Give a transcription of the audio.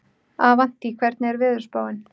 Avantí, hvernig er veðurspáin?